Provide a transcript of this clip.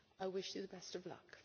I wish you the best of luck.